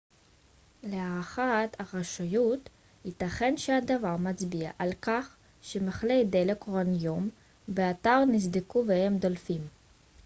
להערכת הרשויות ייתכן שהדבר מצביע על כך שמכלי דלק אורניום באתר נסדקו והם דולפים